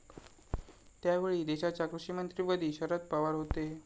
त्यावेळीदेशाच्या कृषीमंत्रीपदी शरद पवार होते.